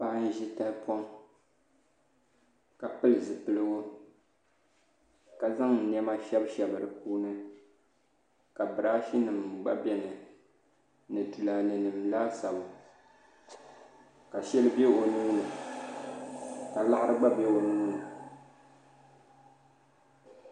Paɣa n ʒi tahapoŋ ka pili zipiligu ka zaŋ niɛma shɛbi shɛbi di puuni ka biraashi nim gba bɛ ni ni tulaalɛ nim laasabu ka shɛli bɛ o nuuni ka laɣari gba bɛ o nuuni